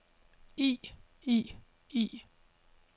i i i